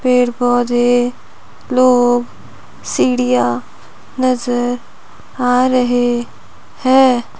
पेड़ पौधे लोग सीढ़ियां नजर आ रहे हैं।